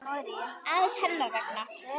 aðeins hennar vegna.